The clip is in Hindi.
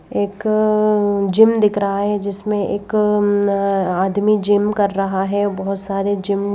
एक जिम दिख रहा है जिसमें एक आदमी जिम कर रहा है बहुत सारे जिम --